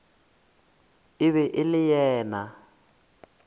e be e le yena